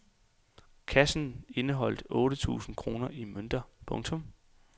Kassen indeholdt otte tusind kroner i mønter. punktum